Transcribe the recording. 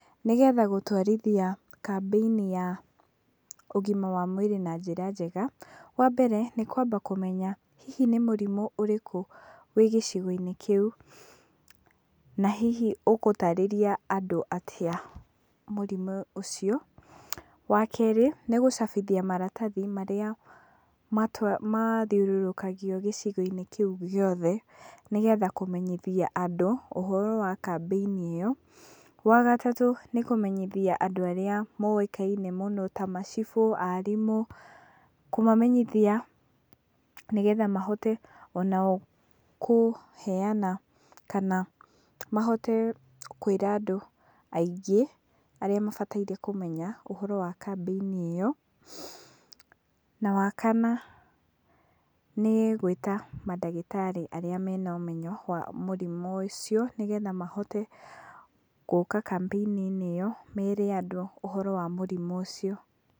Nĩgetha gũtwarithia kambĩini ya ũgima wa mwĩrĩ na njira njega, wambere nĩ kwamba kũmenya, hihi nĩ mũrimũ ũrĩkũ wĩ gĩcigo-inĩ kĩu, na hihi ũgũtarĩria andũ atĩa mũrimũ ũcio. Wakerĩ, nĩ gũcabithia maratathi marĩa matwa, mathĩũrũrũkagio gĩcigo-inĩ kĩu gĩothe, nĩgetha kũmenyithia andũ ũhoro wa kambeinĩ ĩyo. Wa gatatũ nĩ kũmenyithia andũ arĩa moĩkaine mũno, ta macibũ, aarimũ, kũmamenyithia nĩgetha mahote onao kũheana kana mahote kwĩra andũ aingĩ arĩa mabataire kũmenya ũhoro wa kambĩini ĩyo, na wa kana nĩ gwĩta mandagĩtarĩ arĩa mena ũmenyo wa mũrimũ ũcio, nĩgetha mahote gũũka kambĩini-inĩ ĩyo, meere andũ ũhoro wa mũrimũ ũcio.